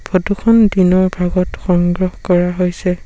Photo খন দিনৰ ভাগত সংগ্ৰহ কৰা হৈছে।